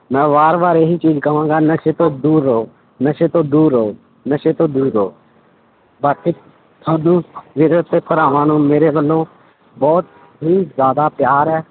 ਮੈਂ ਵਾਰ ਵਾਰ ਇਹੀ ਚੀਜ਼ ਕਵਾਂਗਾ ਨਸ਼ੇ ਤੋਂ ਦੂਰ ਰਹੋ, ਨਸ਼ੇ ਤੋਂ ਦੂਰ ਰਹੋ, ਨਸ਼ੇ ਤੋਂ ਦੂਰ ਰਹੋ, ਬਾਕੀ ਸਾਨੂੰ ਭਰਾਵਾਂ ਨੂੰ ਮੇਰੇ ਵੱਲੋਂ ਬਹੁਤ ਹੀ ਜ਼ਿਆਦਾ ਪਿਆਰ ਹੈ,